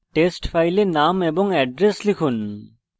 test file name এবং address লিখুন